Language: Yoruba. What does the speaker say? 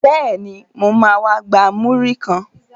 Bẹ́ẹ̀ni, mo ma wá gba múrí kan